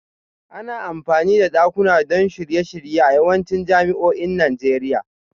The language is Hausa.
Ana amfani da dakuna don shirye-shirye a yawancin jami'o'in Najeriya